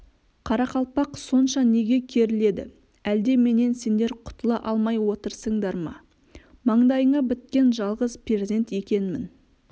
қарақалпақ сонша неге керіледі әлде менен сендер құтыла алмай отырсыңдар ма маңдайыңа біткен жалғыз перзент екенмін